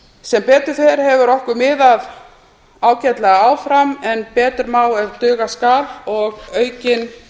sem betur fer hefur okkur miðað ágætlega áfram en betur má ef duga skal og aukin